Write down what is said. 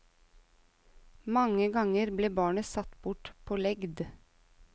Mange ganger ble barnet satt bort på legd.